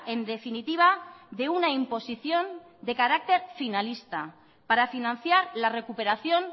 en definitiva de una imposición de carácter finalista para financiar la recuperación